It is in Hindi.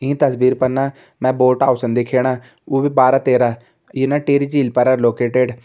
इ तस्वीर पर ना बोट पास छन दिखेणा वो भी बारा तेरा ये ना टिहरी झील परा लोकेटेड ।